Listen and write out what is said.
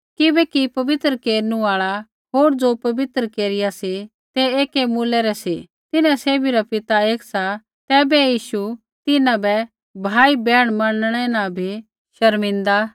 किबैकि पवित्र केरनु आल़ा होर ज़ो पवित्र केरिया सी तै एकी मूलै रै सी तिन्हां सैभी रा पिता एक सा तैबै यीशु तिन्हां बै भाईबैहण मनणै न नी शर्मिन्दा